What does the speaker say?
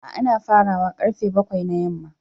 A'a ana fara wa karfe bakwai na yamma.